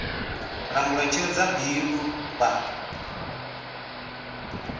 langula tsheo dza bindu vha